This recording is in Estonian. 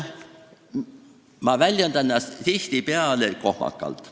Ma väljendan ennast tihtipeale kohmakalt.